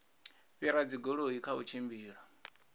fhira dzigoloi kha u tshimbila